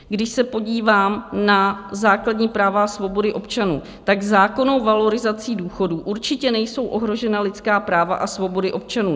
Když se podívám na základní práva a svobody občanů, tak zákonnou valorizací důchodů určitě nejsou ohrožena lidská práva a svobody občanů.